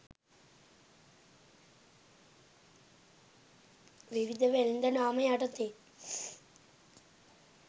විවිධ වෙළෙඳ නාම යටතේ